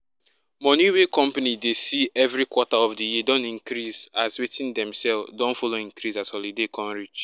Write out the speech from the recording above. money wey company dey see every quarter of di year don increase as wetin dem sell don follow increase as holiday come reach